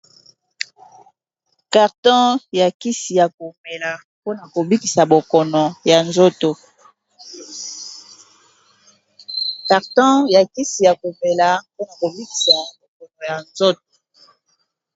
Carton ya kisi ya komela mpona kobikisa bokono ya nzoto.